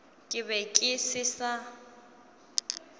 ke be ke se sa